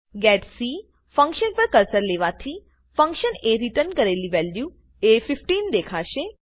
getC function પર cursor લેવાથી function એ રીટર્ન કરેલી વેલ્યુ એ 15 દેખાશે